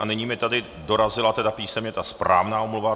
A nyní mi tady dorazila tedy písemně ta správná omluva.